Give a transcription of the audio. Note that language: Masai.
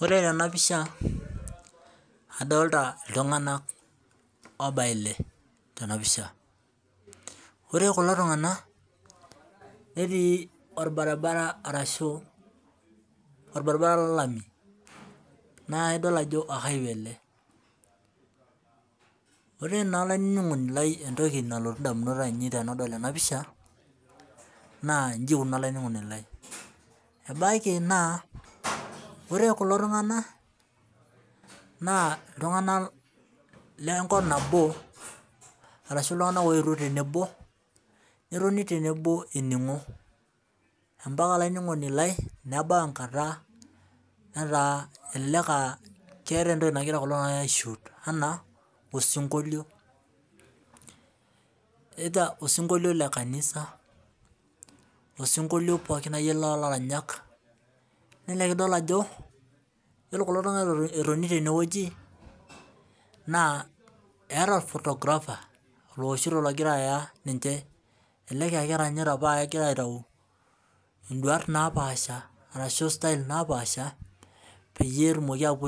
Ore tenapisha adolta ltunganak obaya ile tenapisha ore kulo tunganak netii irbaribara lolamu naidil ajo highway ele ore na olaininingoni lai entoki nalotu ndamunot tanadol enapisha na ji iko olaininingoni lai ebakibna ore kulo tunganak na ltunganak lenkop nabo ashu ltunganak oetuo tenebo netoni tenwbo eningo ebaki neeta entoki nagira kulo tunganak aishut anaa osinkolio osinkolio lekanisa ,osinkolio lolaranyak na ona pidol ajo ore kulo tunganak etoni tene eeta photographer ogira aya ninche elelek aa keranyita pa kegira aitaduaya nduata napaasha petum ashom